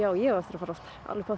ég á eftir að fara oftar